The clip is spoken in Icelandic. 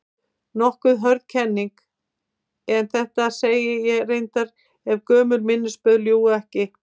Nokkuð hörð kenning, en þetta sagði ég reyndar- ef gömul minnisblöð ljúga ekki.